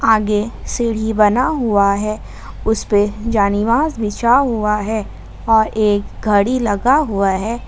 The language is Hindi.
आगे सीढ़ी बना हुआ है उस पे जानीवास बिछा हुआ है और एक घड़ी लगा हुआ है।